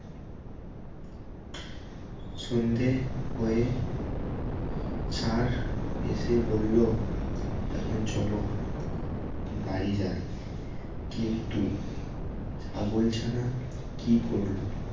সন্ধ্যে হয়ে ষাঁড় এসে বলল এখন চলো বাড়ি যাই কিন্তু ছাগল ছানা কি করলো